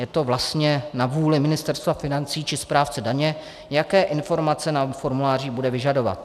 Je to vlastně na vůli Ministerstva financí či správce daně, jaké informace na formulářích bude vyžadovat.